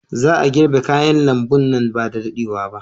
Za a girbe kayan lambu nan ba da daɗewa ba.